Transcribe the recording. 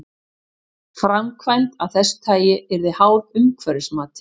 Framkvæmd af þessu tagi yrði háð umhverfismati.